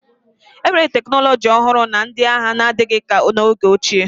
enwere teknọlọji ọhụrụ na ndị agha n'adịghị ka n'oge ochie